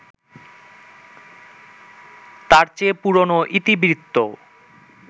তার চেয়ে পুরনো ইতিবৃত্ত